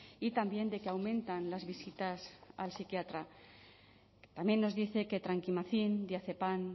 y también de que aumentan las visitas al psiquiatra también nos dice que trankimazin diazepan